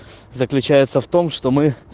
заключается в том что мы